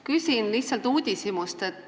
Küsin lihtsalt uudishimust.